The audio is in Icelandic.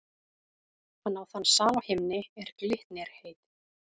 Hann á þann sal á himni, er Glitnir heitir.